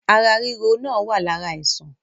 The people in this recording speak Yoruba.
Ara ríro náà wá lára àìsàn.